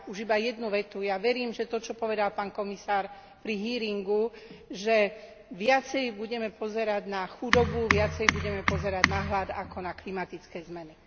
A už iba jednu vetu ja verím, že to čo povedal pán komisár pri hearingu, že viacej budeme pozerať na chudobu, viacej budeme pozerať na hlad ako na klimatické zmeny.